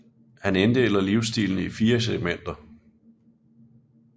Han inddeler livsstilene i fire segmenter